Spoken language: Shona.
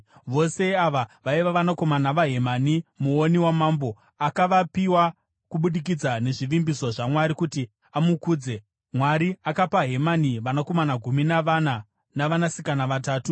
Vose ava vaiva vanakomana vaHemani muoni wamambo. Akavapiwa kubudikidza nezvivimbiso zvaMwari kuti amukudze. Mwari akapa Hemani vanakomana gumi navana, navanasikana vatatu.